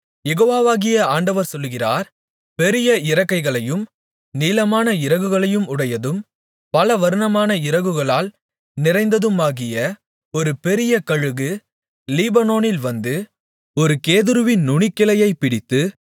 யெகோவாகிய ஆண்டவர் சொல்லுகிறார் பெரிய இறக்கைகளையும் நீளமான இறகுகளையும் உடையதும் பலவர்ணமான இறகுகளால் நிறைந்ததுமாகிய ஒரு பெரிய கழுகு லீபனோனில் வந்து ஒரு கேதுருவின் நுனிக்கிளையைப் பிடித்து